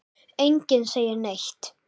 Enginn segir neitt.